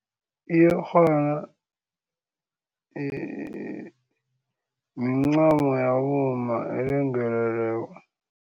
Iyerhana mincamo yabomma elengeleleko.